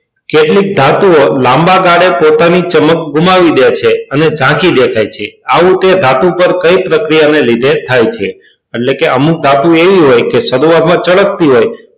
કેટલીક ધાતુઓ લાંબા ગાળે પોતાની ચમક ગુમાવી દે છે અને ઝાંખી દેખાય છે આવું તે ધાતુ ઉપર કઈ પ્રક્રિયાને લીધે થાય છે એટલે કે અમુક ધાતુઓ એવી હોય કે શરૂઆતમાં ચળકતી હોય,